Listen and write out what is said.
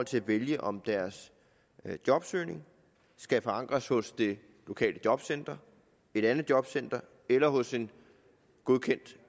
til at vælge om deres jobsøgning skal forankres hos det lokale jobcenter et andet jobcenter eller hos en godkendt